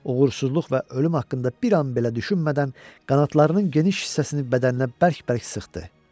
Uğursuzluq və ölüm haqqında bir an belə düşünmədən qanadlarının geniş hissəsini bədəninə bərk-bərk sıxdı.